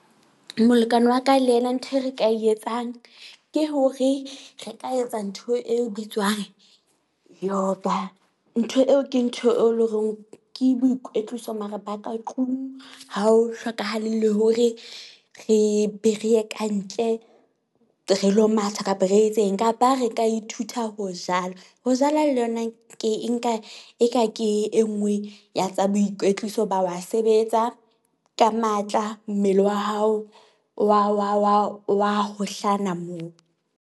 Molekane wa ka le yena ntho e re ka e etsang ke hore re ka etsa ntho e bitswang yoba. Ntho eo ke ntho e leng hore ke boikwetliso, mara ba ka tlung ha ho hlokahale le hore re be re ye kantle, re lo matha kapa re etseng kapa re ka ithuta ho jala. Ho jala le yona ke e nka e ka ke e nngwe ya tsa boikwetliso ba wa sebetsa ka matla, mmele wa hao wa wa wa wa hohlana moo.